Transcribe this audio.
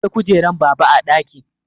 Akwai kujeran baba a ɗakin